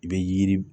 I bɛ yiri